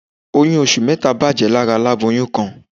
Oyún oṣù mẹ́ta bàjẹ́ lára aláboyún kan